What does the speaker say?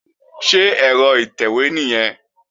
Ṣé ẹ̀rọ ìtẹ̀wé nìyẹn?